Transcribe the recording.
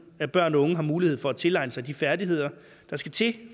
at børn og unge har mulighed for at tilegne sig de færdigheder der skal til